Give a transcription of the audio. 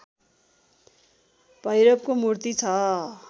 भैरवको मूर्ति छ